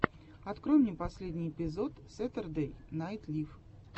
открой мне последний эпизод сэтердэй найт лив